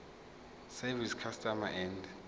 service customs and